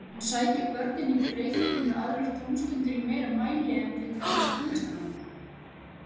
En sækja börnin í Breiðholtinu aðrar tómstundir í meira mæli en til dæmis tónlistarnámið?